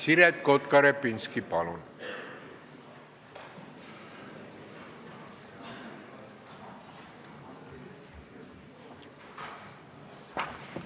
Siret Kotka-Repinski, palun!